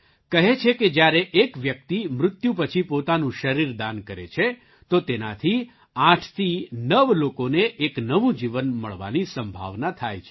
કહે છે કે જ્યારે એક વ્યક્તિ મૃત્યુ પછી પોતાનું શરીર દાન કરે છે તો તેનાથી આઠથી નવ લોકોને એક નવું જીવન મળવાની સંભાવના થાય છે